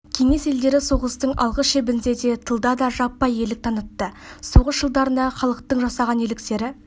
кеңес елдері соғыстың алғы шебінде де тылда да жаппай ерлік танытты соғыс жылдарындағы халықтың жасаған ерліктері